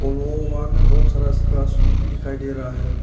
बहुत सारा scratch look भी दिखाई दे रहा है।